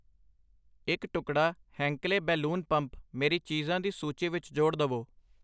ਇੱਕ, ਟੁਕੜਾ ਹੈਂਕਲੇ ਬੈਲੂਨ ਪੰਪ ਮੇਰੀ ਚੀਜਾਂ ਦੀ ਸੂਚੀ ਵਿੱਚ ਜੋੜ ਦਵੋ I